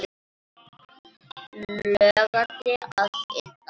Logandi að innan.